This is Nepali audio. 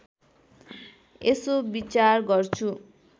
यसो विचार गर्छु